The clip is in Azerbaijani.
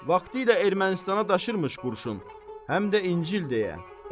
Vaxtilə Ermənistana daşırmış qurşun, həm də İncil deyə.